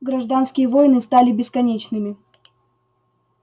гражданские войны стали бесконечными